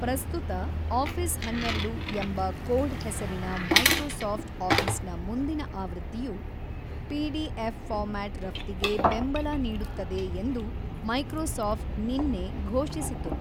ಪ್ರಸ್ತುತ ಆಫೀಸ್ ಹನ್ನೆರಡು ಎಂಬ ಕೋಡ್-ಹೆಸರಿನ ಮೈಕ್ರೋಸಾಫ್ಟ್ ಆಫೀಸ್‌ನ ಮುಂದಿನ ಆವೃತ್ತಿಯು ಪಿಡಿಎಫ್ ಫಾರ್ಮ್ಯಾಟ್ ರಫ್ತಿಗೆ ಬೆಂಬಲ ನೀಡುತ್ತದೆ ಎಂದು ಮೈಕ್ರೋಸಾಫ್ಟ್ ನಿನ್ನೆ ಘೋಷಿಸಿತು.